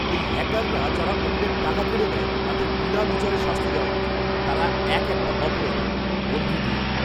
এই হ্যাকাররা যারা অন্যের টাকা কেড়ে নেয় তাদের বিনা বিচারে শাস্তি দেওয়া উচিত। তারা এক একটা অপরাধী। বন্ধু দুই